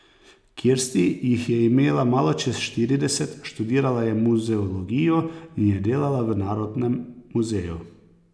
Kirsti jih je imela malo čez štirideset, študirala je muzeologijo in je delala v narodnem muzeju.